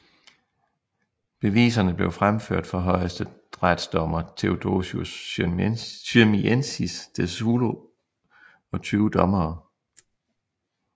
Beviserne blev fremført for højesteretsdommer Theodosious Syrmiensis de Szulo og 20 dommere